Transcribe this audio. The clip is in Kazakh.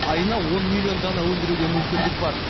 айына он миллион дана өндіруге мүмкіндік бар